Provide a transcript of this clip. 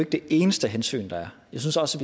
det eneste hensyn der er jeg synes også